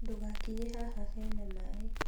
Ndũgakinye haha hena maĩ